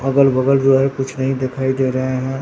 अगल बगल जो है कुछ नहीं दिखाई दे रहे हैं।